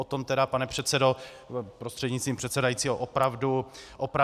O tom tedy, pane předsedo prostřednictvím předsedajícího, opravdu nevím.